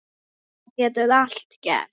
Það getur allt gerst.